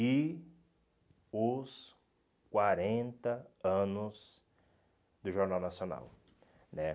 E os quarenta anos do Jornal Nacional né.